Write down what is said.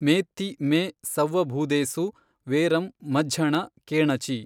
ಮೇತ್ತೀ ಮೇ ಸವ್ವಭೂದೇಸು ವೇರಂ ಮಜ್ಝಣ ಕೇಣ ಚಿ